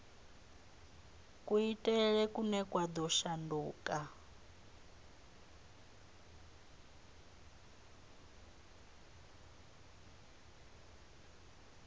kuitele kune kwa ḓo shanduka